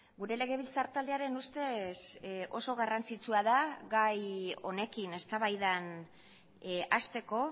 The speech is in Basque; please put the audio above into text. gure legebiltzar taldearen ustez oso garrantzitsua da gai honekin eztabaidan hasteko